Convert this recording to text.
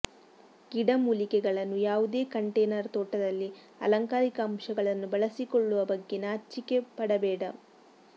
ಗಿಡಮೂಲಿಕೆಗಳನ್ನು ಯಾವುದೇ ಕಂಟೇನರ್ ತೋಟದಲ್ಲಿ ಅಲಂಕಾರಿಕ ಅಂಶಗಳನ್ನು ಬಳಸಿಕೊಳ್ಳುವ ಬಗ್ಗೆ ನಾಚಿಕೆಪಡಬೇಡ